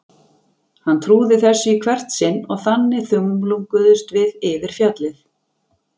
Hann trúði þessu í hvert sinn og þannig þumlunguðumst við yfir fjallið.